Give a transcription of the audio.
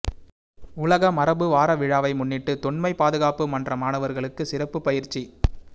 உலக மரபு வார விழாவை முன்னிட்டு தொன்மை பாதுகாப்பு மன்ற மாணவர்களுக்கு சிறப்பு பயிற்சி